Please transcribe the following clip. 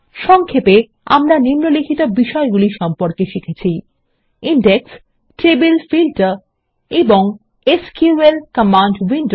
সংক্ষেপে আমরা নিম্নলিখিত বিষয়গুলি সম্পর্কে শিখেছি ইনডেক্সে টেবিল ফিল্টার এবং এসকিউএল কমান্ড উইন্ডো